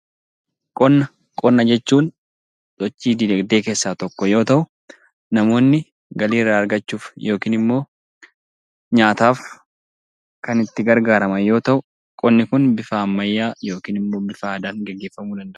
Qonna Qonna jechuun sochii diinagdee keessaa tokko yoo ta'u, namoonni galii irraa argachuuf yookiin immoo nyaataaf kan itti gargaaraman yoo ta'u, qonni kun bifa ammayyaa yookiin immoo bifa aadaan geggeeffamuu danda'a.